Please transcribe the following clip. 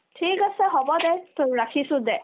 ঠিক আছে হ'ব দে তোৰ ৰাখিছো দে